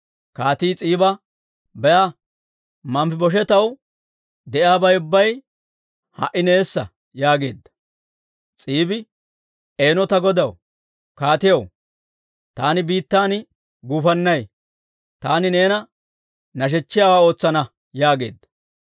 Kaatii S'iiba, «Be'a! Manfibosheetaw de'iyaabay ubbay ha"i neessa» yaageedda. S'iibi, «Eeno ta godaw kaatiyaw! Taani biittan guufannay; taani neena nashechchiyaawaa ootsana» yaageedda.